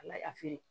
A lafili